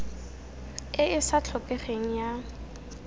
e e sa tlhokegeng ya